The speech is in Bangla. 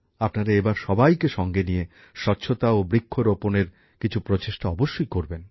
আপনারা এবার সবাইকে সঙ্গে নিয়ে স্বচ্ছতা ও বৃক্ষরোপনের কিছু উদ্যোগে অবশ্যই সামিল হবেন